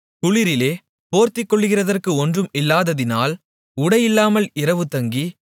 குளிரிலே போர்த்துக்கொள்ளுகிறதற்கு ஒன்றும் இல்லாததினால் உடையில்லாமல் இரவுதங்கி